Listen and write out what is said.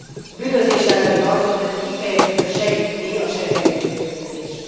A bűnözés elleni harcot pedig kifejezetten segíti a schengeni együttműködés.